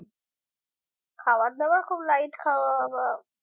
খাবার দাবার খুব light খাওয়া বা